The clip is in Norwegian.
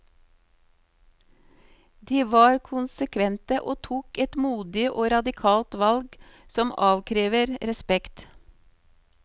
De var konsekvente og tok et modig og radikalt valg som avkrever respekt.